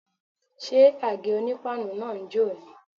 Ṣé àgé-onípáànù náà ń jò ni?